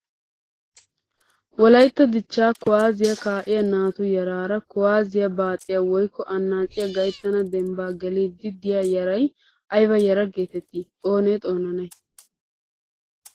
Wolayitta dichchaa kuwaazziyaa kaa'iyaa naatu yaraara kuwaazziyaa baaxiyaa woyikko annaaciyaa gayittana dembbaa geliiddi diyaa yarayi ayiba yaraa geeteettii? Oonee xoonanayi?